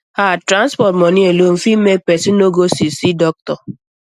ah transport money alone fit make person no go see see doctor